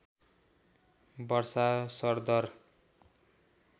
वर्षा सरदर